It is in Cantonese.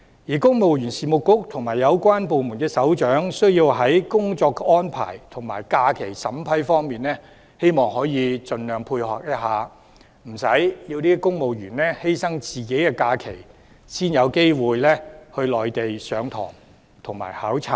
而公務員事務局和有關部門的首長應在工作安排和假期審批上盡量配合，避免令公務員犧牲自己的假期才有機會到內地上堂和考察。